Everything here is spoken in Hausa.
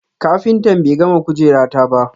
kafintan be gama kujera ta ba.